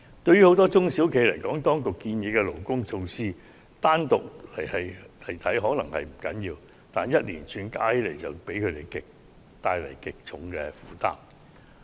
對於很多中小型企業來說，當局建議的勞工措施，單獨看來可能並不要緊，但連串措施合併起來卻會為他們帶來極沉重的負擔。